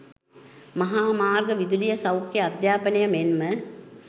මහා මාර්ග, විදුලිය, සෞඛ්‍ය, අධ්‍යාපනය මෙන්ම